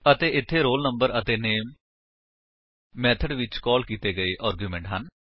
ਅਤੇ ਇੱਥੇ roll number ਅਤੇ ਨਾਮੇ ਮੇਥਡ ਵਿੱਚ ਕਾਲ ਕੀਤੇ ਗਏ ਆਰਗਿਉਮੇਂਟਸ ਹਨ